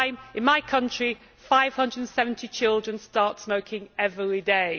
In my country, 570 children start smoking every day.